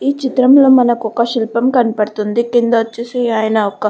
ఈ చిత్రంలో మనకి ఒక శిల్పం కనపడుతుంది. కింద వచ్చేసి ఆయన ఒక --